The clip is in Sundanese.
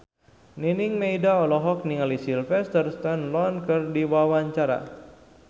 Nining Meida olohok ningali Sylvester Stallone keur diwawancara